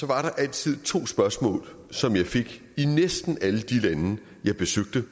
der altid to spørgsmål som jeg fik i næsten alle de lande jeg besøgte